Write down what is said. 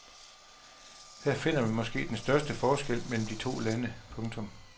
Her finder man måske den største forskel mellem de to lande. punktum